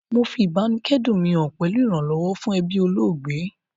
Mo fi ìbáníkẹ́dùn mi han pẹ̀lu ìrànlọ́wọ́ fún ebí olóògbé